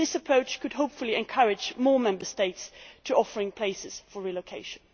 This approach could hopefully encourage more Member States to offer places for relocation.